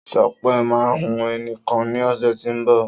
Sopé ma hun eni kan ní ọ̀sẹ̀ tí o nbọ̀